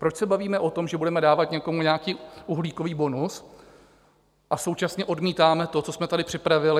Proč se bavíme o tom, že budeme dávat někomu nějaký uhlíkový bonus, a současně odmítáme to, co jsme tady připravili?